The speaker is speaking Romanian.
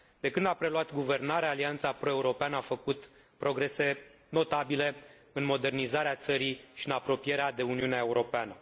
De când a preluat guvernarea, Alianța pro europeană a făcut progrese notabile în modernizarea țării și în apropierea de Uniunea Europeană.